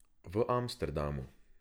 V Amsterdamu.